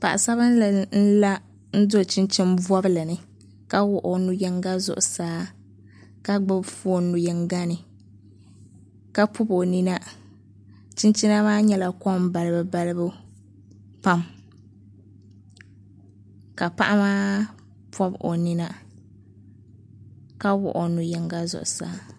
Paɣa sabinli n la n do chinchin bobli ni ka wuɣu o nu yinga zuɣusaa ka gbubi foon nu yinga ni ka pobi o nina chinchina maa nyɛla kom balibu balibu pam ka paɣa maa pobi o nina ka wuɣu o nu yinga zuɣusaa